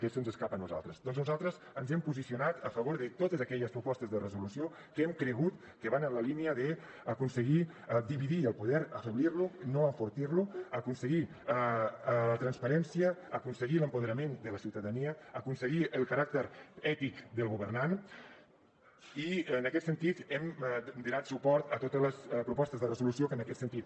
aquesta se’ns escapa a nosaltres ja que nosaltres ens hem posicionat a favor de totes aquelles propostes de resolució que hem cregut que van en la línia d’aconseguir dividir el poder afeblir lo no enfortir lo aconseguir transparència aconseguir l’empoderament de la ciutadania aconseguir el caràcter ètic del governant i en aquest sentit hem donat suport a totes les propostes de resolució que van en aquest sentit